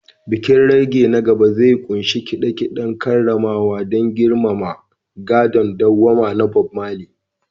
Bikin reggae na gaba zai ƙunshi kide-kiden karramawa don girmama gadon dawwama na Bob Marley